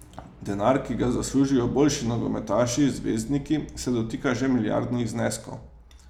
Denar, ki ga zaslužijo boljši nogometaši, zvezdniki, se dotika že milijardnih zneskov.